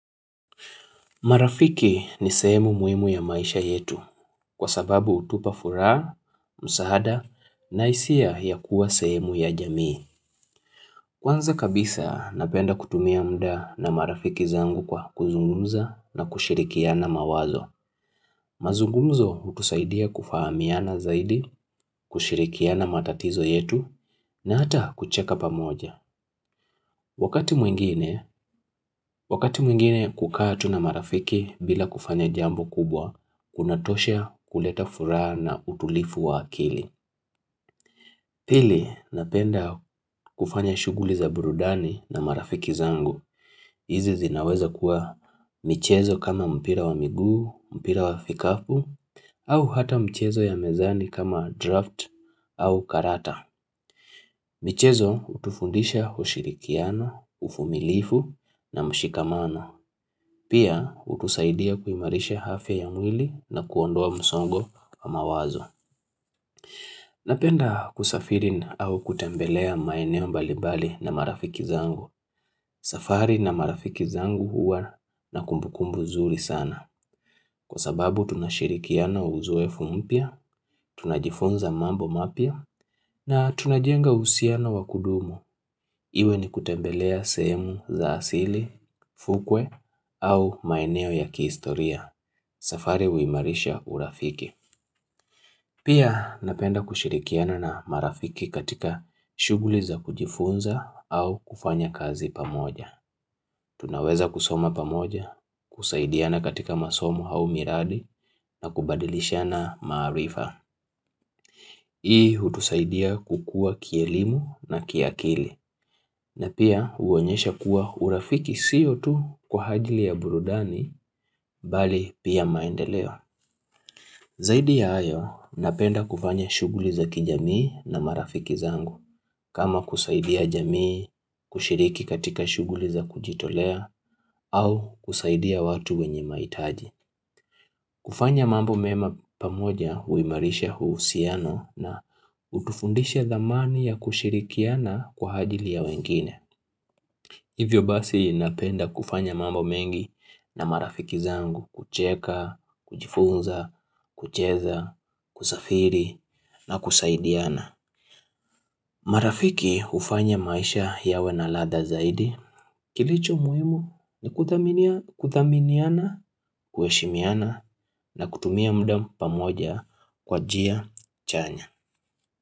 Marafiki ni sehemu muhimu ya maisha yetu kwa sababu hutupa furaha, msaada, na hisia ya kuwa sehemu ya jamii. Kwanza kabisa napenda kutumia muda na marafiki zangu kwa kuzungumza na kushirikiana mawazo. Mazungumzo hutusaidia kufahamiana zaidi, kushirikiana matatizo yetu, na hata kucheka pamoja. Wakati mwingine, wakati mwingine kukaa tu na marafiki bila kufanya jambo kubwa, kuna tosha kuleta furaha na utulivu wa akili. Pili, napenda kufanya shughuli za burudani na marafiki zangu. Hizi zinaweza kuwa michezo kama mpira wa miguu, mpira wa vikapu, au hata michezo ya mezani kama draft au karata. Michezo hutufundisha ushirikiano, uvumilivu na mshikamano. Pia, hutusaidia kuimarisha afya ya mwili na kuondoa msongo wa mawazo. Napenda kusafiri au kutembelea maeneo mbalimbali na marafiki zangu. Safari na marafiki zangu huwa na kumbukumbu zuri sana. Kwa sababu tunashirikiana uzoefu mpya, tunajifunza mambo mapya na tunajenga uhusiano wakudumu. Iwe ni kutembelea sehemu za asili, fukwe au maeneo ya kihistoria. Safari huimarisha urafiki. Pia napenda kushirikiana na marafiki katika shughuli za kujifunza au kufanya kazi pamoja. Tunaweza kusoma pamoja, kusaidiana katika masomo au miradi na kubadilishana maarifa. Hii hutusaidia kukua kielimu na kiakili. Na pia huonyesha kuwa urafiki siyo tu kwa ajili ya burudani bali pia maendeleo. Zaidi ya hayo, napenda kufanya shughuli za kijamii na marafiki zangu. Kama kusaidia jamii, kushiriki katika shughuli za kujitolea au kusaidia watu wenye mahititaji. Kufanya mambo mema pamoja huimarisha uhusiano na utufundisha dhamani ya kushirikiana kwa ajili ya wengine. Hivyo basi napenda kufanya mambo mengi na marafiki zangu kucheka, kujifunza, kucheza, kusafiri na kusaidiana. Marafiki hufanya maisha yawe na ladha zaidi. Kilicho muhimu ni kuthaminiana, kuheshimiana na kutumia muda pamoja kwa njia chanya.